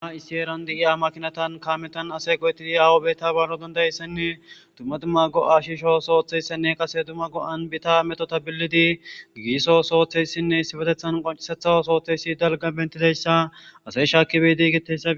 issi eeran di7iya makinatan kaametan ase goyetidi awubeta baaro dandayeyssenne dumma dumma go7ashisho sooththeyssenne qase duma go7an bita meto tabillidi giiiso sooththeyssinne issibetethan qoncisetha sooththeyssi dalga bentiteyssa ase shaakibedigetesa